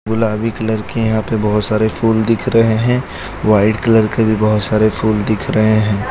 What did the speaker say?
गुलाबी कलर के यहां पे बहोत सारे फूल दिख रहे हैं व्हाइट कलर के भी बहोत सारे फूल दिख रहे हैं।